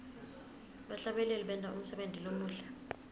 bahlabeleli benta umsebenti lomuhle